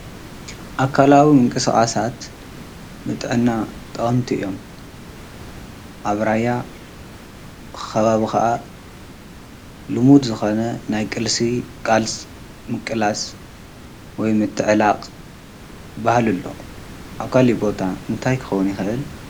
ኣካላዊ ምንቅስስ ንጥዕናና ጠቀምቲ እዮም። ኣብ ራያ ኸባብ ኸዓ ልሙድ ዝኾነ ናይ ቕልሲ ቃልስ ምቅላስ ወይ ምትዕላቕ ባሃልሎ ኣብ ካል ቦታ እንታይ ክውኑ ይኽእ?